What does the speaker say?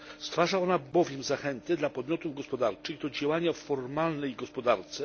Stwarza ona bowiem zachętę dla podmiotów gospodarczych do działania w formalnej gospodarce.